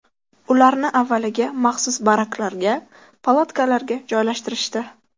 Ularni avvaliga maxsus baraklarga, palatkalarga joylashtirishdi.